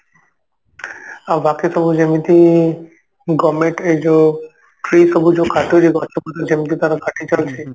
ଆଉ ବାକୁ ସବୁ ଯେମିତି government ରେ ଯଉ ସେଇ ସବୁ ଯଉ କାଟୁଛି ଗଛ ପତ୍ର ଯେମିତି ତାର କାଟି ଚାଲିଛି